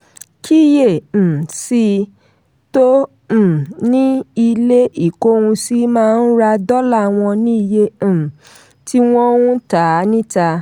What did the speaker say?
kíyè um sí: tó um ni ilé ìkóhunsí máa ń ra dọ́là wọn ní iye um tí wọ́n ń tà á níta.